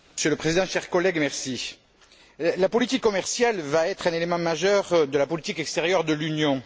Monsieur le Président, chers collègues, la politique commerciale va être un élément majeur de la politique extérieure de l'Union.